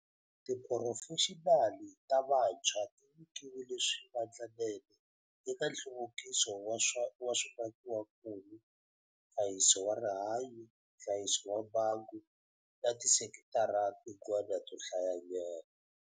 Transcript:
Tiphurofexinali ta vantshwa ti nyikiwile swivandlanene eka nhluvukiso wa swimakiwakulu, nhlayiso wa rihanyu, nhlayiso wa mbangu na tisekitara tin'wana to hlayanyana.